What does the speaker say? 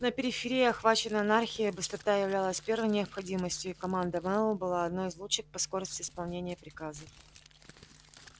на периферии охваченной анархией быстрота являлась первой необходимостью и команда мэллоу была одной из лучших по скорости исполнения приказов